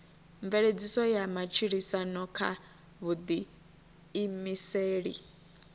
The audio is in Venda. mveledziso ya matshilisano kha vhuḓiimiseli